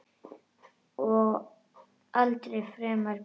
Og aldrei framar gleði.